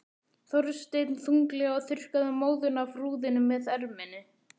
Þorsteinn þunglega og þurrkaði móðuna af rúðunni með erminni.